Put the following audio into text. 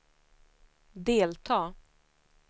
delta